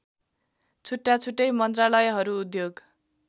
छुट्टाछुट्टै मन्त्रालयहरू उद्योग